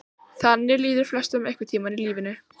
Þannig líður flestum einhvern tíma í lífinu.